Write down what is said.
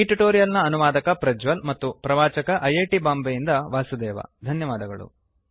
ಈ ಟ್ಯುಟೋರಿಯಲ್ ನ ಅನುವಾದಕ ಪ್ರಜ್ವಲ್ ಮತ್ತು ಪ್ರವಾಚಕ ಐಐಟಿ ಬಾಂಬೆಯಿಂದ ವಾಸುದೇವ ಧನ್ಯವಾದಗಳು